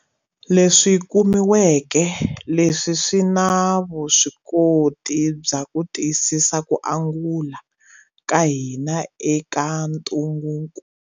Leswi kumiweke leswi swi na vuswikoti bya ku tiyisisa ku angula ka hina eka ntungukulu.